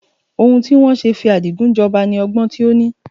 Ohun tí wọn ṣe fi Adigun jọba ni ọgbọ́n tí ó ní.